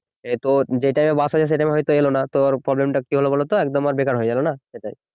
এত যে time এ বাস আছে সে time এ হয়তো এলো না তো ওর problem টা কি হলো বলো তো একদম ওর বেকার হয়ে গেল না সেটাই